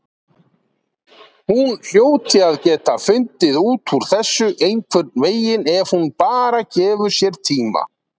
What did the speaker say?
Hún hljóti að geta fundið út úr þessu einhvernveginn ef hún bara gefur sér tíma.